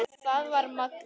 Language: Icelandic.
Það var magnað.